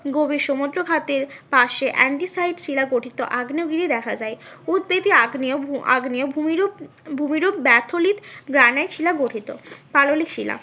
গভীর সমুদ্রখাতের পাশে শিলা গঠিত আগ্নেয় গিরি দেখা যায় উৎবেদী আগ্নেয় আগ্নেয় ভূমিরূপ, ভূমিরূপ ব্যাথলিট গ্রানাইট শিলা গঠিত। পাললিক শিলা